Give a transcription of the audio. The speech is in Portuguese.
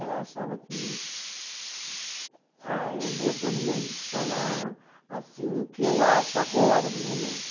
achava que... Ah, eu vou de lemb falar assim o que eu acho agora, no momento.